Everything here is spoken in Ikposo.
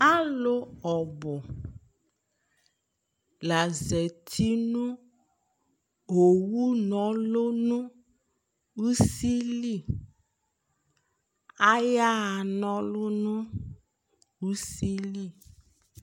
alò ɔbu la zati no owu n'ɔlu no usi li aya ɣa na ɔlu n'usi li